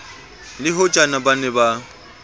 le hojane ba ne ba